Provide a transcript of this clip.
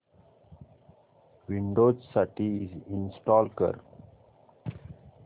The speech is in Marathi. विंडोझ साठी इंस्टॉल कर